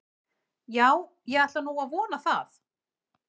Já, ég ætla nú að vona það.